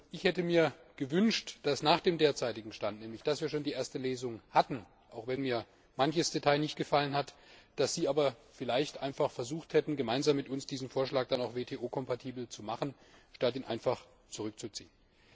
Ich hätte mir gewünscht, dass Sie nach dem derzeitigen Stand nämlich dass wir schon die erste Lesung hatten, auch wenn mir manches Detail nicht gefallen hat einfach versucht hätten, gemeinsam mit uns diesen Vorschlag WTO kompatibel zu machen, statt ihn einfach zurückzuziehen.